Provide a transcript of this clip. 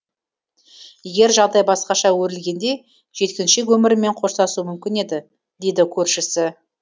егер жағдай басқаша өрілгенде жеткіншек өмірімен қоштасуы мүмкін еді дейді көршісі